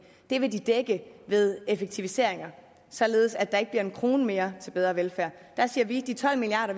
vil de dække ved effektiviseringer således at der ikke bliver en krone mere til bedre velfærd der siger vi at de tolv milliard